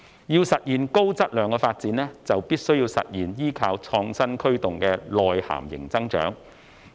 要實現高質量發展，便必須實現依靠創新驅動的內涵型增長。